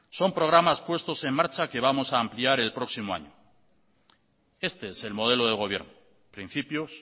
son programas puestos en marcha que vamos a ampliar el próximo año este es el modelo de gobierno principios